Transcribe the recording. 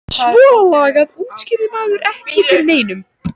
Svona lagað útskýrði maður ekki fyrir neinum.